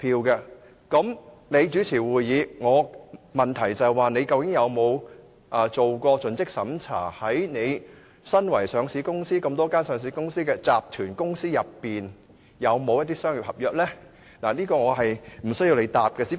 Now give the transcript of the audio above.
那麼，你主持會議......我的問題是，你究竟有否作盡職審查，與你相關的多間上市公司、集團公司之中，有否與西九相關的商業合約？